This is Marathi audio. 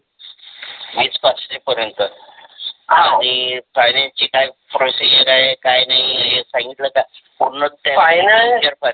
वीस पाशे पर्यन्त हव आणि Finanace ची काय process आहे काय नही हे सांगितल का पूर्णच त्या